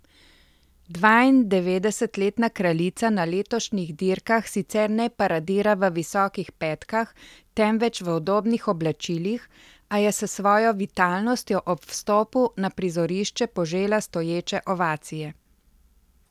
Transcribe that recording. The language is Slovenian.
Dvaindevetdesetletna kraljica na letošnjih dirkah sicer ne paradira v visokih pekah, temveč v udobnih oblačilih, a je s svojo vitalnostjo ob vstopu na prizorišče požela stoječe ovacije.